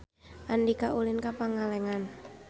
Andika ulin ka Pangalengan